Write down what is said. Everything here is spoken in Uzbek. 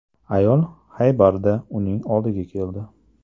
Ayol Xaybarda uning oldiga keldi.